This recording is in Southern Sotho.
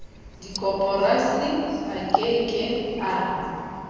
dikoporasi a ke ke a